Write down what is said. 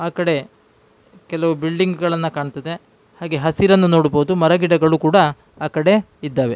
ಆ ಕಡೆ ಕೆಲವು ಬಿಲ್ಡಿಂಗ್ ಗಳನ್ನೂ ಕಾಣ್ತದೇ ಹಾಗೆ ಹಸಿರನ್ನು ನೋಡಬಹುದು ಮರ ಗಿಡಗಳು ಕೂಡ ಆ ಕಡೆ ಇದ್ದವೇ-